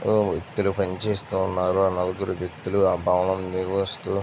వ్యక్తులు పని చేస్తూ ఉన్నారు . ఆ నలుగురు వ్యక్తులు ఆ భవనం నిర్మిస్తూ--